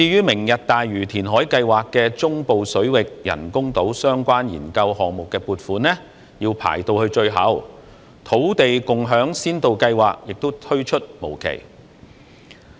"明日大嶼"填海計劃的中部水域人工島相關研究項目撥款要排到最後，土地共享先導計劃亦推出無期。